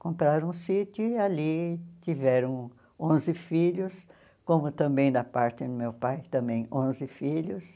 Compraram um sítio e ali tiveram onze filhos, como também na parte do meu pai, também onze filhos.